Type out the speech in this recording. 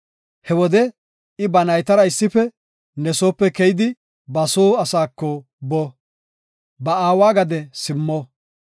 He wode I ba naytara issife ne soope keyidi ba soo asaako boo; ba aawa gade simmo.